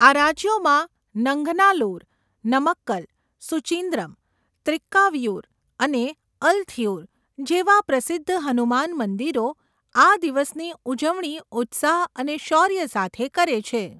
આ રાજ્યોમાં નંગનાલ્લુર, નમક્કલ, સુચિન્દ્રમ, ત્રિક્કાવિયૂર અને અલથિયૂર જેવા પ્રસિદ્ધ હનુમાન મંદિરો આ દિવસની ઉજવણી ઉત્સાહ અને શૌર્ય સાથે કરે છે.